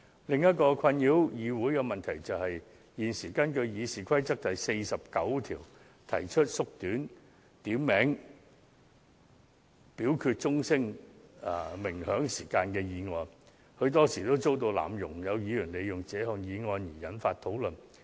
另一個困擾議會的問題是，現時根據《議事規則》第49條提出縮短點名表決鐘聲鳴響時間的議案，很多時候也遭到濫用，有議員利用這項議案引發討論。